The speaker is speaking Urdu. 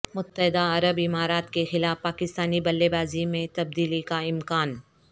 متحدہ عرب امارات کے خلاف پاکستانی بلے بازی میں تبدیلی کا امکان